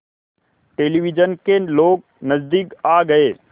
television के लोग नज़दीक आ गए